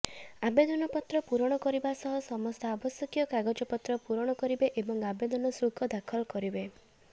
ଆବେଦନପତ୍ର ପୂରଣ କରିବା ସହ ସମସ୍ତ ଆବଶ୍ୟକୀୟ କାଗଜପତ୍ର ପୂରଣ କରିବେ ଏବଂ ଆବେଦନ ଶୁଳ୍କ ଦାଖଲ କରିବେ